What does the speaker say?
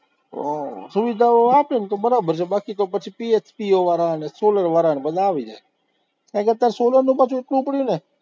સુવિધાઓ આપે ને તો બરાબર છે, બાકી તો પછી PHPO વાળા અને solar વાળા બધા આવી જાય, એના કરતા solar નું પાછું એટલું ઉપડું ને